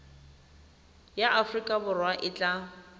ya aforika borwa e tla